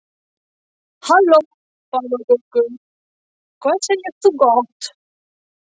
Halló páfagaukur, hvað segir þú gott?